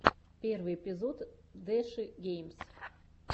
первый эпизод дэши геймс